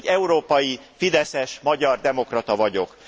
Én egy európai, fideszes, magyar demokrata vagyok.